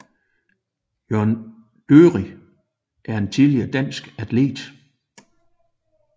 Jørn Dørig er en tidligere dansk atlet